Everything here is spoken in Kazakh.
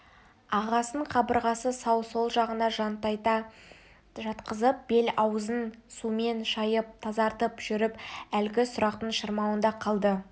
ағасын қабырғасы сау сол жағына жантайта жатқызып бет-аузын сумен шайып тазартып жүріп әлгі сұрақтың шырмауында қалды